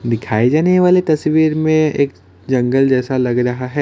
दिखाई देने वाली तस्वीर में एक जंगल जैसा लग रहा है।